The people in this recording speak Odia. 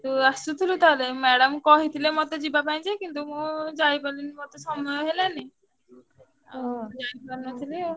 ତୁ ଆସିଥିଲୁ ତାହେଲେ madam କହିଥିଲେ ମତେ ଯିବା ପାଇଁ ଯେ କିନ୍ତୁ ମୁଁ ଯାଇପାରିଲିନି ମତେ ସମୟ ହେଲାନି ଓହୋ ଆଉ ଯାଇପାରିନଥିଲି ଆଉ।